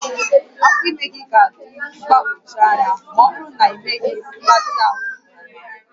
Afọ ime gị ga-adị mgbagwoju anya ma ọ bụrụ na ịmeghị mgbatị ahụ nke ọma